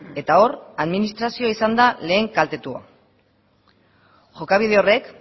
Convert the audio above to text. eta hor administrazioa izan da lehen kaltetua jokabide horrek